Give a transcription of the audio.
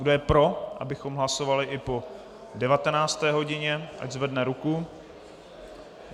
Kdo je pro, abychom hlasovali i po 19. hodině, ať zvedne ruku.